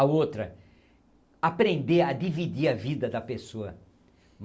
A outra, aprender a dividir a vida da pessoa.